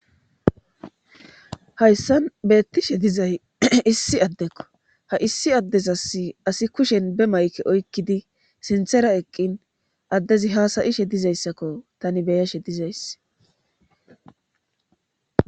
Hayssan beettishe dizay issi addekko ha issi addes asi asi kushen be mayke oykkidi sinthera eqqin addezi haasayishe dizayssakko tani beyashe dizays.